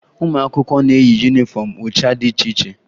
Ụmụ akwụkwọ na-eyi yunifọmụ ụcha dị iche iche